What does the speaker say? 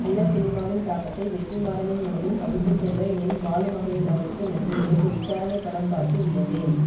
நல்ல சினிமாவின் தாக்கத்தை வெற்றிமாறனின் மனதில் பதித்துச்சென்ற என் பாலுமஹேந்திராவிற்கு நன்றி நேற்று விசாரணை படம் பார்த்து வியந்தேன்